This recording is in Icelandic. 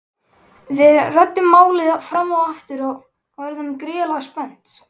Við ræddum málið fram og aftur og urðum gríðarlega spennt.